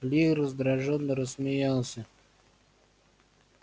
ли раздражённо рассмеялся